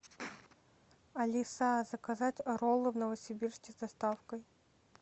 алиса заказать роллы в новосибирске с доставкой